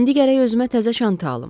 İndi gərək özümə təzə çanta alım.